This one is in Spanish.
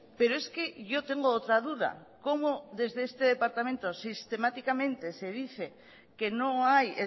pero es que yo tengo otra duda cómo desde este departamento sistemáticamente se dice que no hay